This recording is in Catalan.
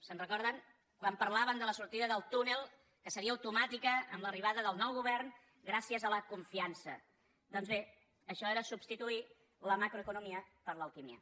se’n recorden quan parlaven de la sortida del túnel que seria automàtica amb l’arribada del nou govern gràcies a la confiança doncs bé això era substituir la macroeconomia per l’alquímia